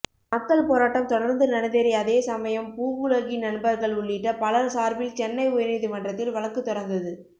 மக்கள் போராட்டம் தொடர்ந்து நடந்தேறிய அதே சமயம் பூவுலகின் நண்பர்கள் உள்ளிட்ட பலர் சார்பில் சென்னை உயர்நீதிமன்றத்தில் வழக்கு தொடர்ந்தது